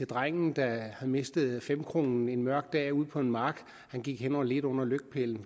drengen der havde mistet femkronen en mørk dag ude på en mark og som gik hen og ledte under lygtepælen